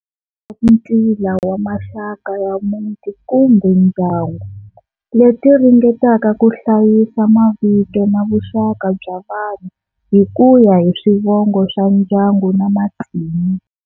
Ntila wa maxaka ya muti kumbe ndyangu, leti ringetaka ku hlayisa mavito na vuxaka bya vanhu hikuya hi swivongo swa ndyangu na matimu.